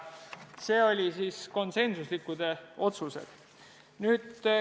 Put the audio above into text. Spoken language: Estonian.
Need olid konsensuslikud otsused.